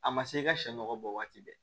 A ma se i ka sɛ nɔgɔ bɔ waati bɛɛ